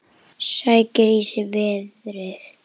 Sækir í sig veðrið.